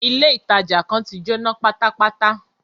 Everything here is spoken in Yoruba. Ilé ìtàjà kan tí Jóná pátápátá.